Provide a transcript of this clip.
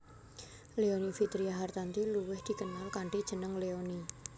Leony Vitria Hartanti luwih dikenal kanthi jeneng Leony